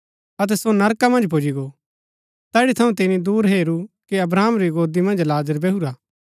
अतै सो नरका मन्ज पुजी गो तैठी थऊँ तिनी दूर हेरू कि अब्राहम री गोदी मन्ज लाजर बैहुरा हा